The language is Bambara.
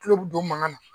Tulo bi don mankan na